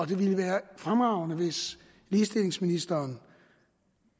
det ville være fremragende hvis ligestillingsministeren